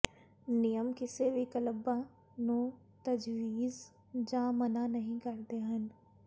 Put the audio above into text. ਨਿਯਮ ਕਿਸੇ ਵੀ ਕਲੱਬਾਂ ਨੂੰ ਤਜਵੀਜ਼ ਜਾਂ ਮਨ੍ਹਾ ਨਹੀਂ ਕਰਦੇ ਹਨ